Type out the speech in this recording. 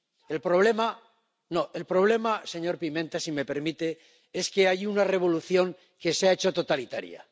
El problema, señor Pimenta ―si me permite―, es que hay una revolución que se ha hecho totalitaria.